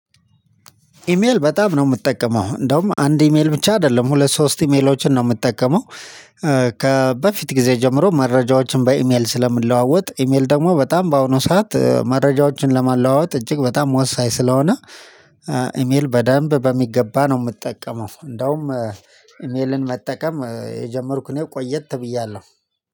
ኢሜል በጣም ነው የምጠቀመው እንደውም አንድ ኢሜል ብቻ አይደለም ሁለት ሶስት ኢሜሎችን ነው የምጠቀመው። ከበፊት ጊዜ ጀምሮ መረጃዎችን በኢሜል ስለምንለዋወጥ ኢሜል ደግሞ በጣም በአሁኑ ሰዓት መረጃዎችን ለማለዋወጥ እጅግ በጣም ወሳኝ ስለሆነ። ኢሜል በደንብ በሚገባ ነው የምጠቀመው። እንደውም ኢሜልን መጠቀም የጀመርኩ እኔ ቆየት ብያለሁ።